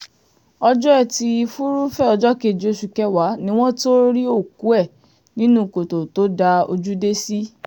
ọjọ́ etí furuufee ọjọ́ kejì oṣù kẹwàá ni wọ́n tóó rí òkú ẹ̀ nínú kòtò tó dá ojú dé sí